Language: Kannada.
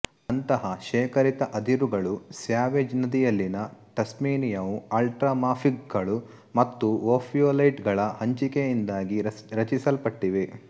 ಅಂತಹ ಶೇಖರಿತ ಅದಿರುಗಳು ಸ್ಯಾವೇಜ್ ನದಿಯಲ್ಲಿನ ಟಸ್ಮೇನಿಯಾವು ಅಲ್ಟ್ರಾಮಾಫಿಕ್ಗಳು ಮತ್ತು ಓಫಿಯೋಲೈಟ್ಗಳ ಹಂಚಿಕೆಯಿಂದಾಗಿ ರಚಿಸಲ್ಪಟ್ಟಿವೆ